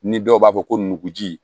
Ni dɔw b'a fɔ ko nuguji